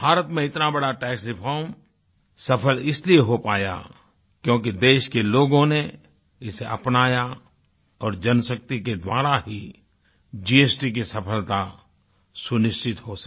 भारत में इतना बड़ा टैक्स रिफॉर्म सफ़ल इसलिए हो पाया क्योंकि देश के लोगों ने इसे अपनाया और जनशक्ति के द्वारा ही जीएसटी की सफ़लता सुनिश्चित हो सकी